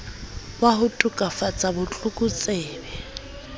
wa ho tokafatsa bo tlokotsebe